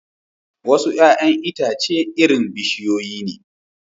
Wasu 'ya'yan itace irin bishiyoyi ne